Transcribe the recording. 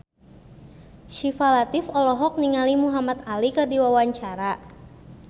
Syifa Latief olohok ningali Muhamad Ali keur diwawancara